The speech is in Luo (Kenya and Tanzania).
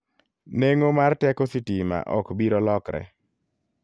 Neng'o mar teko sitima ok biro lokre.